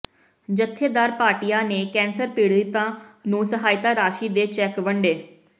ਜਥੇਦਾਰ ਭਾਟੀਆ ਨੇ ਕੈਂਸਰ ਪੀੜਿਤਾ ਨੂੰ ਸਹਾਇਤਾ ਰਾਂਸ਼ੀ ਦੇ ਚੈਕ ਵੰਡੇ